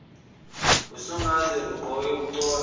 usungaze ugqoke uconse